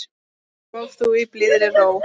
Sof þú í blíðri ró.